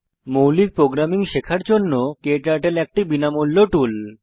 মৌলিক প্রোগ্রামিং শেখার জন্য ক্টার্টল একটি বিনামূল্য টুল